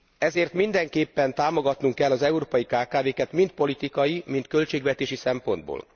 Ezért mindenképpen támogatnunk kell az európai kkv ket mind politikai, mind költségvetési szempontból.